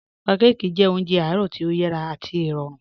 Pànḳàkí jẹ̀ ọ̀njẹ̀ àárọ̀ tí o yàrá àti ìròrùn